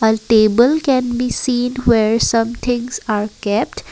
A table can be seen where some things are kept